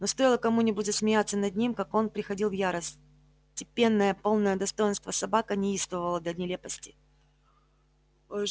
но стоило кому-нибудь засмеяться над ним как он приходил в ярость степенная полная достоинства собака неистовствовала до нелепости